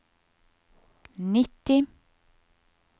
nitti